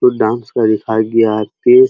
कुछ डांस का है ।